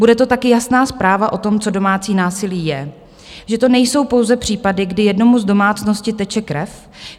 Bude to taky jasná zpráva o tom, co domácí násilí je, že to nejsou pouze případy, kdy jednomu z domácnosti teče krev.